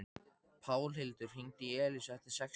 Pálhildur, hringdu í Elísu eftir sextíu mínútur.